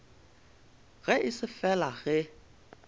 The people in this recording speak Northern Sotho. ge e se fela ge